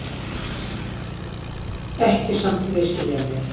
Ekki samt misskilja mig.